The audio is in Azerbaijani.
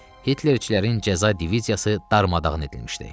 Hitlerçilərin cəza diviziyası darmadağın edilmişdi.